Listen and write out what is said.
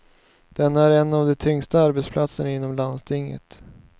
Den är en av de tyngsta arbetsplatserna inom landstinget.